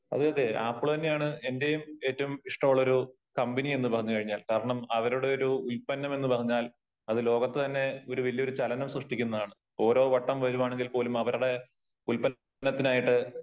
അതേ അതേ ആപ്പിള് തന്നെയാണ് എന്റെയും ഏറ്റവും ഇഷ്ടമുള്ള ഒരു കമ്പനി എന്ന് പറഞ്ഞു കഴിഞ്ഞാൽ. കാരണം അവരുടെ ഒരു ഉല്പന്നം എന്ന് പറഞ്ഞാൽ അത് ലോകത്ത് തന്നെ ഒരു വലിയ ചലനം ശ്രുക്കുന്നതാണ് . ഓരോ വട്ടം വരുവാണെങ്കിൽ പോലും ഇവരുടെ ഉല്പ്പന്നത്തിനായിട്ട്